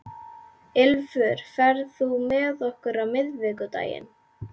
Ylfur, ferð þú með okkur á miðvikudaginn?